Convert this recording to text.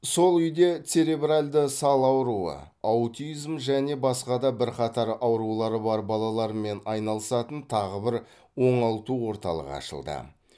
сол үйде церебральды сал ауруы аутизм және басқа да бірқатар аурулары бар балалармен айналысатын тағы бір оңалту орталығы ашылды